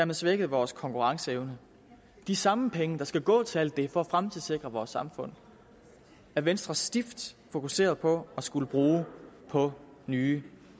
man svækkede vores konkurrenceevne de samme penge der skal gå til alt det for at fremtidssikre vores samfund er venstre stift fokuseret på at skulle bruge på nye